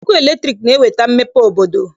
Ọkụ latriki na-eweta mmepe obodo